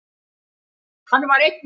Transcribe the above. Hann var einn á báti.